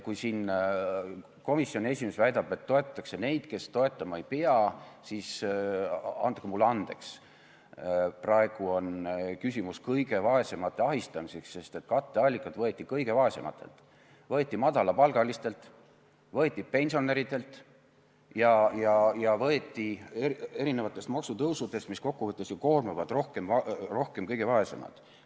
Kui komisjoni esimees väidab, et toetatakse neid, keda toetama ei pea, siis andke mulle andeks, praegu on küsimus kõige vaesemate ahistamises, sest katteallikas võeti kõige vaesematelt: võeti madalapalgalistelt, võeti pensionäridelt ja võeti erinevatest maksutõusudest, mis kokku võttes ju koormavad rohkem kõige vaesemaid.